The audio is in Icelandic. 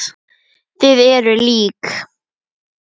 Þið eruð lík.